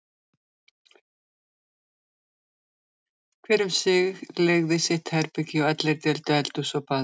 Hver um sig leigði sitt herbergi og allir deildu eldhúsinu og baðinu.